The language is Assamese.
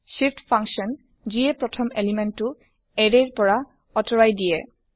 shift ফাংচন যিয়ে প্ৰথম এলিমেন্ট টো এৰে ৰ পৰা আতৰাই দিয়ে